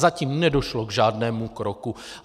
Zatím nedošlo k žádnému kroku.